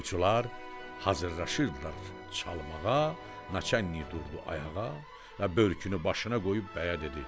Toyçular hazırlaşırlar çalmağa, naçalnik durdu ayağa və börkünü başına qoyub bəyə dedi: